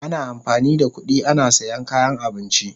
Ana amfani da kudi ana siyan kayan abinci.